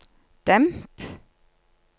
demp